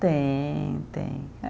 Tem, tem eh